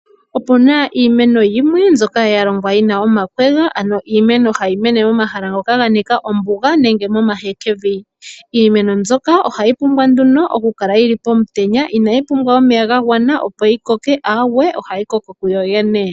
Opuna iimeno yimwe mbyoka ya longwa yina omakwega, ano iimeno hayi mene mo mahala ngoka ga nika ombuga nenge mo mahekevi. Iimeno mbyoka ohayi pumbwa nduno oku kala pomutenya, ina yi pumbwa omeya ga gwana opo yi koke aawe ohayi koko ku yo yene.